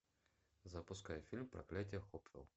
запускай фильм проклятие хопвелл